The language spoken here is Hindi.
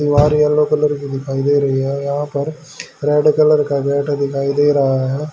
दिवार येलो कलर की दिखाई दे रही है यहां पर रेड कलर का गेट दिखाई दे रहा है।